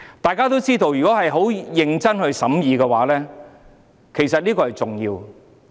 大家都知道，其實這件事甚為重要，要認真審議。